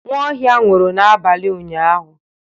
Nwaohia nwụrụ n'abalị ụnyahụ.